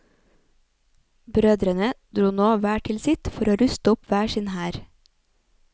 Brødrene dro nå hver til sitt for å ruste opp hver sin hær.